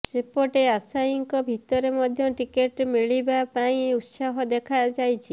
ସେପଟେ ଆଶାୟୀଙ୍କ ଭିତରେ ମଧ୍ୟ ଟିକେଟ ମିଳିବା ନେଇ ଉତ୍ସାହ ଦେଖାଯାଇଛି